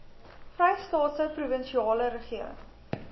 vrystaatse provinsiale regering